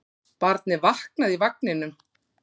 Barnið vaknaði í vagninum.